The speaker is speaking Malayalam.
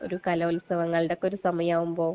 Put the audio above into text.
ഒരു കലോത്സവങ്ങളുടെ ഒക്കെ ഒരു സമയമാവുമ്പോൾ.